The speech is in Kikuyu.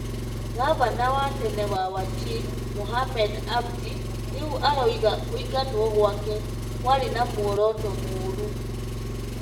Governor wa tene wa Wajir Mohamed Abdi rĩu aroiga kũingatwo gwake kwarĩ na muoroto mũũru